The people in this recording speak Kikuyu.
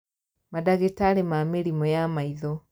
Mandagĩtarĩ ma mĩrimũ ya maitho